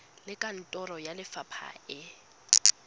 le kantoro ya lefapha e